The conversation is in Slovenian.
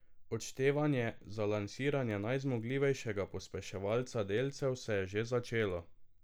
Odštevanje za lansiranje najzmogljivejšega pospeševalca delcev se je že začelo.